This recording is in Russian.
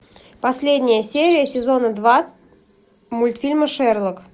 последняя серия сезона два мультфильма шерлок